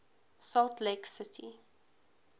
salt lake city